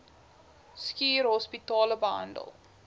schuur hospitale behandel